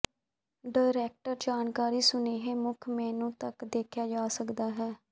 direct ਜਾਣਕਾਰੀ ਸੁਨੇਹੇ ਮੁੱਖ ਮੇਨੂ ਤੱਕ ਦੇਖਿਆ ਜਾ ਸਕਦਾ ਹੈ